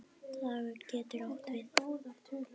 Dagur getur átt við